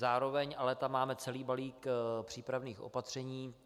Zároveň tam ale máme celý balík přípravných opatření.